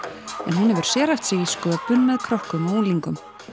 en hún hefur sérhæft sig í sköpun með krökkum og unglingum